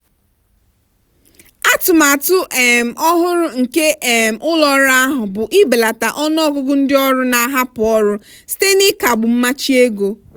atụmatụ um ọhụrụ nke um ụlọ ọrụ ahụ bụ ibelata ọnụọgụgụ ndị ọrụ na-ahapụ ọrụ site n'ịkagbu mmachi ego.